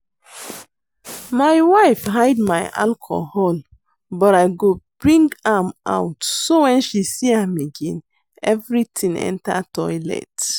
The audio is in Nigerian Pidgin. My wife hide my alcohol but I go bring am out so wen she see am again everything enter toilet